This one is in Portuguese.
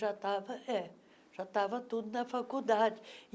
Já estava é já estava tudo na faculdade.